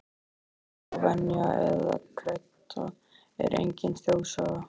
Gömul trú, venja eða kredda er engin þjóðsaga.